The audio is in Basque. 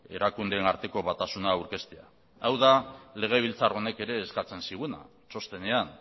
erakundeen arteko batasuna aurkeztea hau da legebiltzar honek ere eskatzen ziguna txostenean